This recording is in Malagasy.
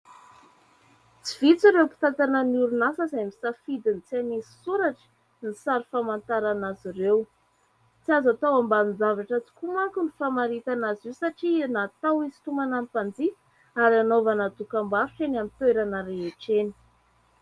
Tsy vitsy ireo mpitantana ny orinasa izay misafidy ny tsy hanisy soratra ny sary famantarana azy ireo. Tsy azo tao ambanin-javatra tokoa manko ny famaritana azy io satria natao hisintomana ny mpanjifa ary hanaovana dokam-barotra eny amin'ny toerana rehetre eny.